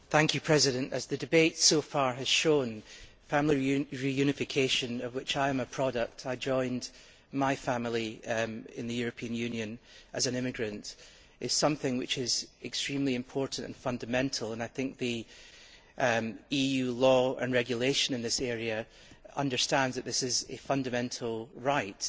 Mr President, as the debate so far has shown, family reunification, of which I am a product I joined my family in the European Union as an immigrant is something which is extremely important and fundamental, and I think EU law and regulations in this area understand that this is a fundamental right.